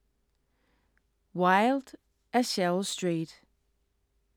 Wild af Cheryl Strayed